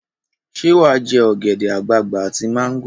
Ṣé wà á jẹ ogèdè-agbagbà àti mango?